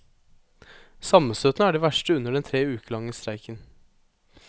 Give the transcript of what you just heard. Sammenstøtene er de verste under den tre uker lange streiken.